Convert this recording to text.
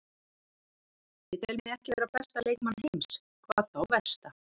Ég tel mig ekki vera besta leikmann heims, hvað þá versta.